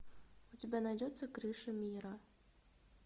у тебя найдется крыша мира